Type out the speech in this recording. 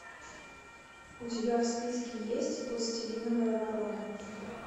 у тебя в списке есть пластилиновая ворона